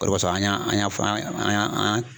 O de koson an y'an an y'an fɔ an y'an